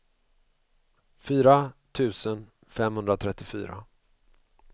fyra tusen femhundratrettiofyra